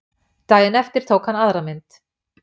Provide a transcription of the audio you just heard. Daginn eftir tók hann aðra mynd